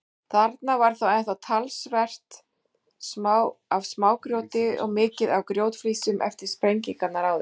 Þarna var þá enn talsvert af smágrjóti og mikið af grjótflísum eftir sprengingarnar áður.